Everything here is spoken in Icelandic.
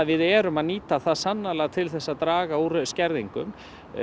við erum að nýta það til að draga úr skerðingu